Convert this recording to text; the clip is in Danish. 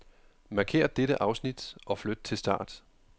Markér dette afsnit og flyt til start.